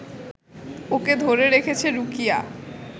ওকে ধরে রেখেছে রুকিয়া